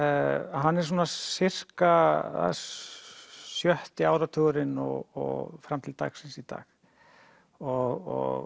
hann er svona sjötti áratugurinn og fram til dagsins í dag og